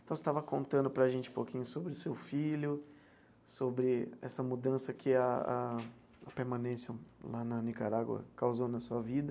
Então, você estava contando para a gente um pouquinho sobre o seu filho, sobre essa mudança que a a a permanência lá na Nicarágua causou na sua vida.